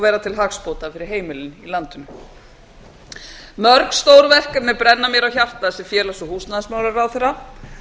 vera til hagsbóta fyrir heimilin í landinu mörg stór verkefni brenna mér á hjarta sem félags og húsnæðismálaráðherra